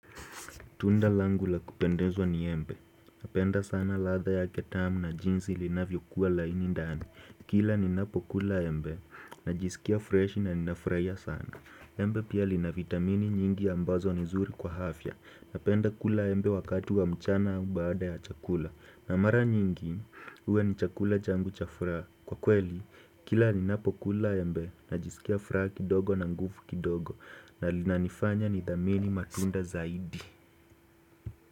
Tunda langu la kupendezwa ni embe. Napenda sana ladha yake tamu na jinsi linavyokuwa laini ndani. Kila ni napokula embe, najisikia freshi na ninafurahia sana. Embe pia lina vitamini nyingi ambazo ni zuri kwa afya. Napenda kula embe wakati wa mchana au baada ya chakula. Na mara nyingi, huwa ni chakula changu cha furaha Kwa kweli, kila ninapokula embe, najisikia furaha kidogo na nguvu kidogo. Na linanifanya ni dhamini matunda zaidi.